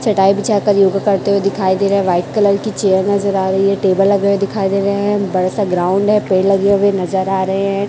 चटाई बिछाकर योगा करते हुए दिखाई दे रहे है व्हाइट कलर की चेयर नज़र आ रही है टेबल लगे हुए दिखाई दे रहे है बड़ा सा ग्राउंड है पेड़ लगे हुए नज़र आ रहे है।